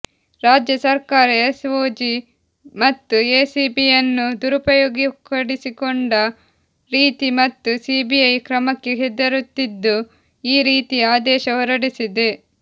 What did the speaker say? ರಾಜ್ಯ ಸರ್ಕಾರ ಎಸ್ಒಜಿ ಮತ್ತು ಎಸಿಬಿಯನ್ನು ದುರುಪಯೋಗಪಡಿಸಿಕೊಂಡ ರೀತಿ ಮತ್ತು ಸಿಬಿಐ ಕ್ರಮಕ್ಕೆ ಹೆದರುತ್ತಿದ್ದು ಈ ರೀತಿ ಆದೇಶ ಹೊರಡಿಸಿದೆ